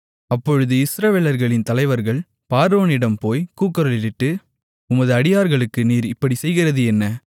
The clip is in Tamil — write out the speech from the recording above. அப்பொழுது இஸ்ரவேலர்களின் தலைவர்கள் பார்வோனிடம் போய் கூக்குரலிட்டு உமது அடியார்களுக்கு நீர் இப்படிச் செய்கிறது என்ன